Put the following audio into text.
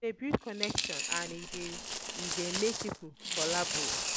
E de build connections and e de e de make pipo collabo